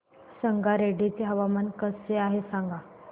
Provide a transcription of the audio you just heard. संगारेड्डी चे हवामान कसे आहे सांगा